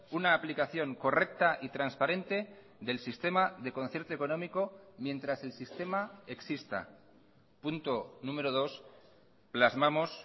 una aplicación correcta y transparente del sistema de concierto económico mientras el sistema exista punto número dos plasmamos